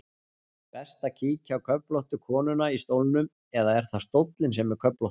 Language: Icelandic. Best að kíkja á köflóttu konuna í stólnum, eða er það stóllinn sem er köflóttur?